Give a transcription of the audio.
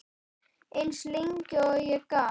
Eins lengi og ég gat.